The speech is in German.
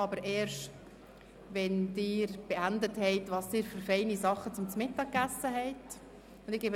Aber ich tue es erst dann, wenn Sie die Diskussion darüber beendet haben, welche feinen Sachen Sie zu Mittag gegessen haben.